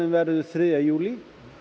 verður þriðja júlí